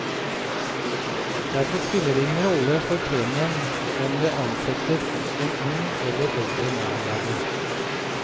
Derfor spiller det ingen rolle for premien om det ansettes en ung eller eldre medarbeider.